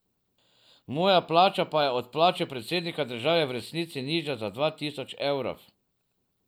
Moja plača pa je od plače predsednika države v resnici nižja za dva tisoč evrov.